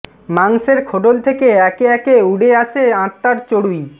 মাংসের খোডল থেকে একে একে উডে আসে আত্মার চডুই